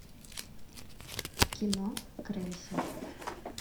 кино крейсер